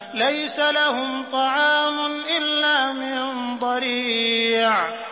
لَّيْسَ لَهُمْ طَعَامٌ إِلَّا مِن ضَرِيعٍ